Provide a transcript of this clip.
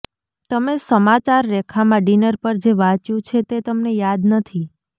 તમે સમાચાર રેખામાં ડિનર પર જે વાંચ્યું છે તે તમને યાદ નથી